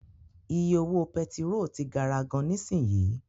Iye owó pẹtiró ti gara gan nisinyi.